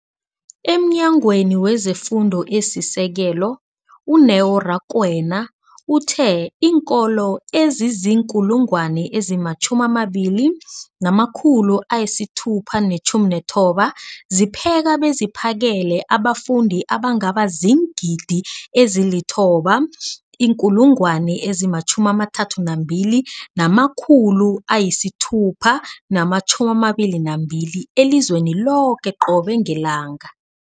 EmNyangweni wezeFundo esiSekelo, u-Neo Rakwena, uthe iinkolo ezizi-20 619 zipheka beziphakele abafundi abangaba ziingidi ezili-9 032 622 elizweni loke qobe ngelanga.